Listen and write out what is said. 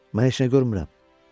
Mən heç nə görmürəm.